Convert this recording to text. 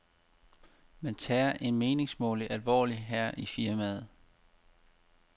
Man tager en meningsmåling alvorligt her i firmaet.